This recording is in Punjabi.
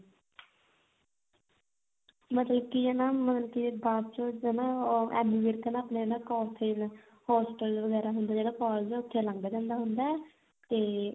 ਮਤਲਬ ਕੀ ਹਨਾ ਮਤਲਬ ਕੀ ਬਾਅਦ ਚ ਉਹ ਐਮੀ ਵਿਰਕ ਨਾ ਆਪਣੇ ਨਾ collage hostel ਵਗੈਰਾ ਹੁੰਦਾ ਜਿਹੜਾ collage ਹੁੰਦੇ ਉੱਥੇ ਲੰਘ ਜਾਂਦਾ ਹੁੰਦਾ ਤੇ